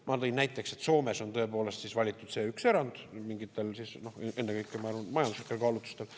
Ma tõin näiteks, et Soomes on tõepoolest valitud see üks erand mingitel, ennekõike, ma arvan, majanduslikel kaalutlustel.